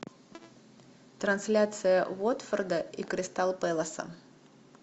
трансляция уотфорда и кристал пэласа